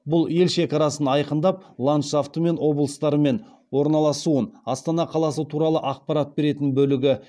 бұл ел шекарасын айқындап ландшафты мен облыстардың орналасуын астана қаласы туралы ақпарат беретін бөлігі